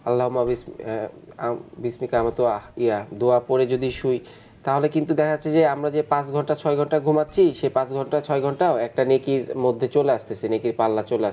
আল্লহ আমাদের আহ দুয়া পড়ে যদি শুই তাহলে কিন্তু দেখা যাচ্ছে যে আমরা যে পাঁচ ঘন্টা ছয় ঘণ্টা ঘুমাচ্ছি সে পাঁচ ঘন্টা ছয় ঘণ্টাও একটা নেকির মধ্যে চলে আসছে একটা সে নেকির পাল্লা চলে আসছে.